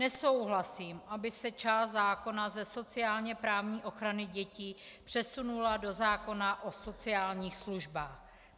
Nesouhlasím, aby se část zákona ze sociálně-právní ochrany dětí přesunula do zákona o sociálních službách.